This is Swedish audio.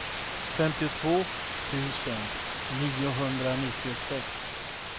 femtiotvå tusen niohundranittiosex